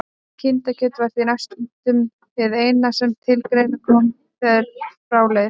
Kindakjöt var því næstum hið eina sem til greina kom þegar frá leið.